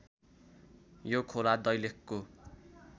यो खोला दैलेखको